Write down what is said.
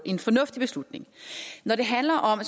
en fornuftig beslutning når det handler om